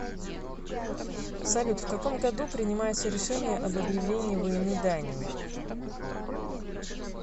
салют в каком году принимается решение об объявлении войны дании